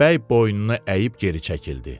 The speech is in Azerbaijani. bəy boynunu əyib geri çəkildi.